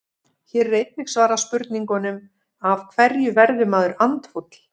Hér er einnig svarað spurningunum: Af hverju verður maður andfúll?